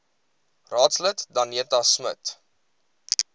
raadslid danetta smit